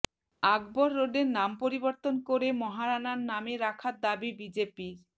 আকবর রোডের নাম পরিবর্তন করে মহারাণার নামে রাখার দাবি বিজেপির